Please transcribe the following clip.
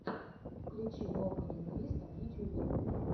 включи лока лингвиста в ютьюбе